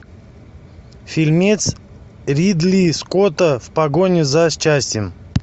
фильмец ридли скотта в погоне за счастьем